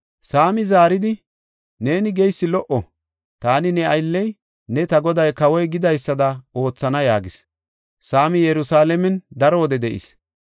Saamii zaaridi, “Neeni geysi lo77o; taani ne aylley ne ta goday kawoy gidaysada oothana” yaagis. Saamii Yerusalaamen daro wode de7is.